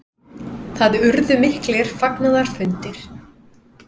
Það urðu miklir fagnaðarfundir.